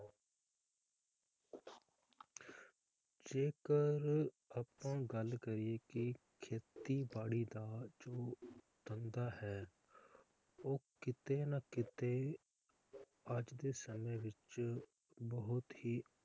ਜੇਕਰ ਆਪਾਂ ਗੱਲ ਕਰੀਏ ਕਿ ਖੇਤੀਬਾੜੀ ਦਾ ਜੋ ਧੰਧਾ ਹੈ ਉਹ ਕੀਤੇ ਨਾ ਕੀਤੇ ਅੱਜ ਦੇ ਸਮੇ ਵਿਚ ਬਹੁਤ ਹੀ,